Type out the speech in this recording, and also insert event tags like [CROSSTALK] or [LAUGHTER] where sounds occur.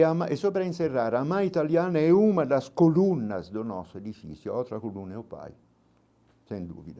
[UNINTELLIGIBLE] E sobre a encerrar, a mãe italiana é uma das colunas do nosso edifício, outra coluna é o pai, sem dúvida.